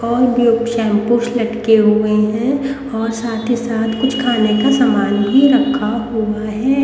और globe shampoos लटके हुए हैं और साथ ही साथ कुछ खाने का सामान भी रखा हुआ है।